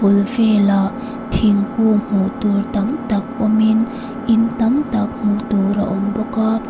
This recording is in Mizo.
bul velah thingkung hmuh tur tam tak awmin in tam tak hmuh tur a awm bawk a.